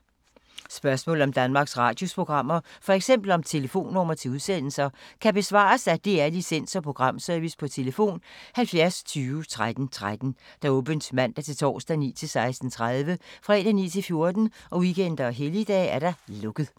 Spørgsmål om Danmarks Radios programmer, f.eks. om telefonnumre til udsendelser, kan besvares af DR Licens- og Programservice: tlf. 70 20 13 13, åbent mandag-torsdag 9.00-16.30, fredag 9.00-14.00, weekender og helligdage: lukket.